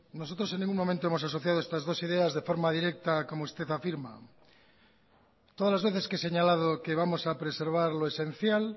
nosotros en ningún momento hemos asociado estas dos ideas de forma directa como usted afirma todas las veces que he señalado que vamos a preservar lo esencial